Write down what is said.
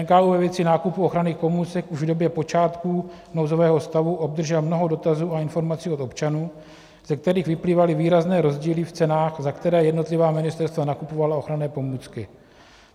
NKÚ ve věci nákupů ochranných pomůcek už v době počátků nouzového stavu obdržel mnoho dotazů a informací od občanů, ze kterých vyplývaly výrazné rozdíly v cenách, za které jednotlivá ministerstva nakupovala ochranné pomůcky.